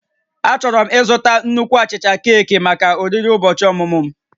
Achọrọ m ịzụta nnukwu achicha keeki maka oriri ụbọchị ọmụmụ m